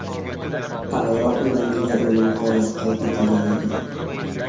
Avvalroq unda miya o‘limi holati qayd etilgan edi.